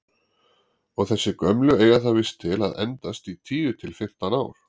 Og þessi gömlu eiga það víst til að endast í tíu til fimmtán ár!